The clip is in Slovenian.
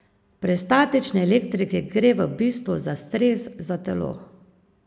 Pri statični elektriki gre v bistvu za stres za telo.